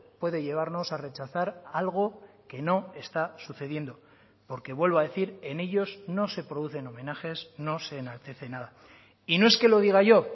puede llevarnos a rechazar algo que no está sucediendo porque vuelvo a decir en ellos no se producen homenajes no se enaltece nada y no es que lo diga yo